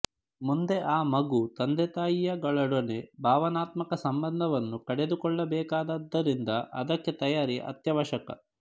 ಮುಂದೆ ಆ ಮಗು ತಂದೆತಾಯಿಯಗಳೊಡನೆ ಭಾವನಾತ್ಮಕ ಸಂಬಂಧವನ್ನು ಕಡಿದುಕೊಳ್ಳಬೇಕಾದದ್ದರಿಂದ ಅದಕ್ಕೆ ತಯಾರಿ ಅತ್ಯವಶ್ಯಕ